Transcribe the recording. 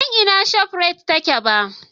Ban san inda Shop Rite take ba